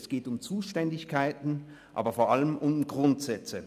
es geht um Zuständigkeiten, aber vor allem um Grundsätze.